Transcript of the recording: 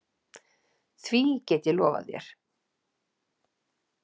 Því get ég lofað þér.